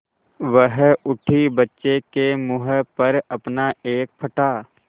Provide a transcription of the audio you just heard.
वह उठी बच्चे के मुँह पर अपना एक फटा